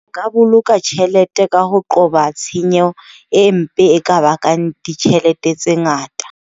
Ka boloka tjhelete ka ho qoba tshenyo e mpe e ka bakang ditjhelete tse ngata.